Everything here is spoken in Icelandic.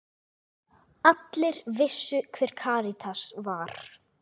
Allir vissu hver Karítas var.